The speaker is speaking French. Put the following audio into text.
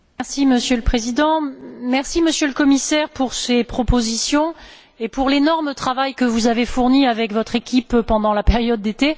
Monsieur le Président, Monsieur le Commissaire, merci pour ces propositions et pour l'énorme travail que vous avez fourni avec votre équipe pendant la période d'été.